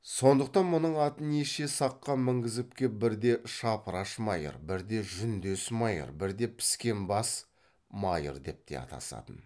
сондықтан мұның атын неше саққа мінгізіп кеп бірде шапыраш майыр бірде жүндес майыр бірде піскен бас майыр деп те атасатын